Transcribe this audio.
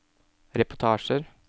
reportasjer